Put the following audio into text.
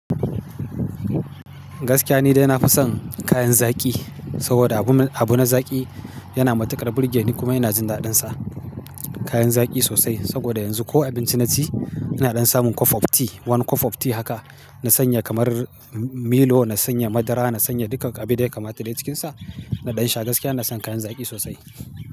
Gaskiya nide nafi son kayan zaki, saboda abu na zaki yana matuƙar burge ni kuma ina jin daɗinsa. Kayan zaki sosai saboda yanzu ko abinci naci ina ɗan samun cup of tea. Wani cup of tea haka na sanya kamar milo, na sanya madara, na sanya dukkan abun da ya kamata da cikin sa. Na ɗan sha gaskiya na son kayan zaki sosai.